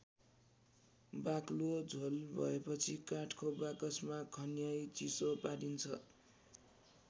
बाक्लो झोल भएपछि काठको बाकसमा खन्याई चिसो पारिन्छ।